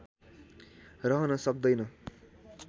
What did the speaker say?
रहन सक्दैन